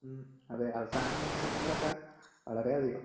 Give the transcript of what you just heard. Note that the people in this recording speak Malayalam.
ഉം അതെ അവസാന നിമിഷങ്ങളിലൊക്കെ വളരെയധികം.